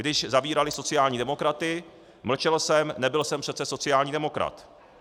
Když zavírali sociální demokraty, mlčel jsem, nebyl jsem přece sociální demokrat.